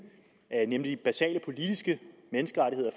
nemlig basale politiske menneskerettigheder